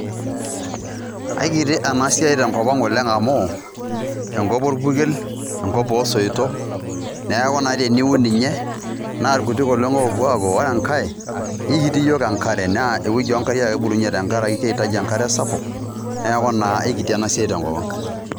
Aikiti ena siai tenkop ang amu enkop orpukel ,enkop osoitok neku naa teniun ninye naa irkutik oleng opuo apok .ore enkae ikiti iyiook enkare naa ewueji oonkariak ake ebulunyie tenkaraki kehitaji enkare sapuk niaku naa ikiti ena siai tenkop ang.